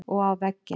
Og á vegginn.